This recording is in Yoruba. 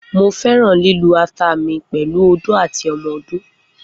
Mo fẹran lilu ata mi pẹlu odó ati ọmọ odó.